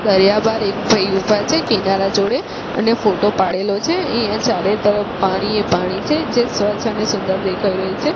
દરિયામાં એક ભાઈ ઊભા છે કિનારા જોડે અને ફોટો પાડેલો છે અહીંયા ચારે તરફ પાણીએ પાણી છે જે સ્વચ્છ અને સુંદર દેખાય રહ્યુ છે.